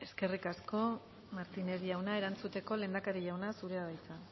eskerrik asko eskerrik asko martínez jauna erantzuteko lehendakari jauna zurea da hitza